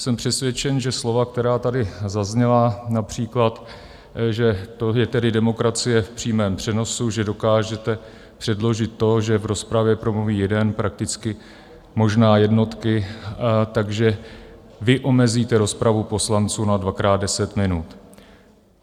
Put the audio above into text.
Jsem přesvědčen, že slova, která tady zazněla, například že to je tedy demokracie v přímém přenosu, že dokážete předložit to, že v rozpravě promluví jeden, prakticky možná jednotky, takže vy omezíte rozpravu poslanců na dvakrát deset minut.